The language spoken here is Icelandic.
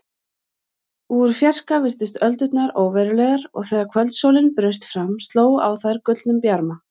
Úr fjarska virtust öldurnar óverulegar og þegar kvöldsólin braust fram sló á þær gullnum bjarma.